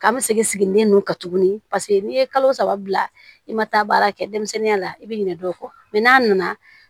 Ka n seginnen nu kan tuguni paseke n'i ye kalo saba bila i ma taa baara kɛ denmisɛnninya la i bi ɲinɛ dɔw kɔ n'a nana